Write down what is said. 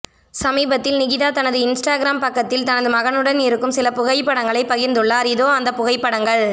சமீபத்தில் நிகிதா தனது இன்ஸ்டாகிராம் பக்கத்தில் தனது மகனுடன் இருக்கும் சில புகைப்படங்களை பகிர்ந்துள்ளார் இதோ அந்தப் புகைப்படங்கள்